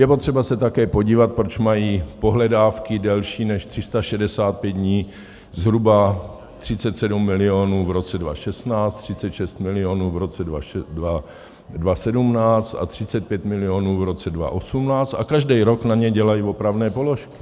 Je potřeba se také podívat, proč mají pohledávky delší než 365 dní zhruba 37 milionů v roce 2016, 36 milionů v roce 2017 a 35 milionů v roce 2018, a každý rok na ně dělají opravné položky.